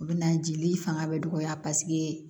U bɛ na jeli fanga bɛ dɔgɔya paseke